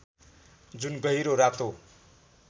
जुन गहिरो रातो